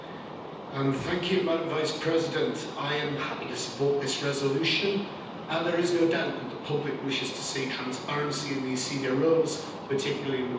Madam President, I am happy to support this resolution as there is no doubt that the public wishes to see transparency in these senior roles, particularly in the world of finance.